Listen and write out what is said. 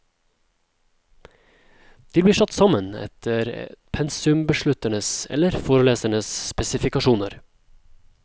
De blir satt sammen etter pensumbeslutternes eller forelesernes spesifikasjoner.